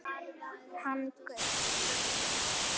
Hann gaus